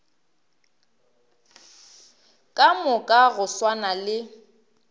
ka moka go swana le